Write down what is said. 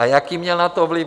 A jaký měl na to vliv?